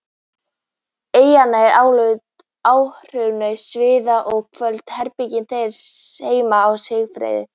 eyjarnar álíka óraunverulegar og sviðin og köld herbergin þeirra heima á Seyðisfirði.